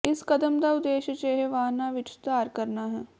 ਇਸ ਕਦਮ ਦਾ ਉਦੇਸ਼ ਅਜਿਹੇ ਵਾਹਨਾਂ ਵਿਚ ਸੁਧਾਰ ਕਰਨਾ ਹੈ